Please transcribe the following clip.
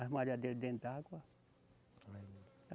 As malhadeiras dentro d'água.